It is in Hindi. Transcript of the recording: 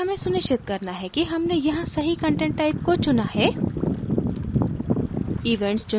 इसीतरह हमें सुनिश्चित करना है कि हमने यहाँ सही content type को चुना है